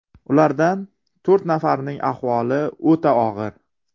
Ulardan to‘rt nafarining ahvoli o‘ta og‘ir.